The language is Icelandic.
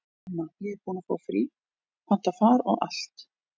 Mamma, ég er búin að fá frí, panta far og allt.